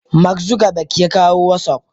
Mark Zuckerberg yakawo watsap.